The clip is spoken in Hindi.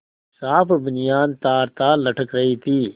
साफ बनियान तारतार लटक रही थी